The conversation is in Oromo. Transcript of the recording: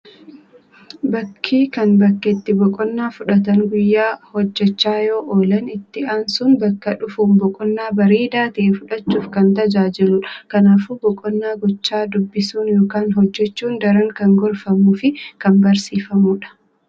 Bakki kan bakka itti boqonnaa fudhatan. Guyyaa hojjachaa yoo oolan. itti aansun bakka dhufuun boqonaa bareedaa ta'e fudhachuuf kan tajaajiluudha kanaafuu boqonnaa gochaa dubbisuun ykn hojjachuun daran kan gorfamuu fi kan barsiifamuudha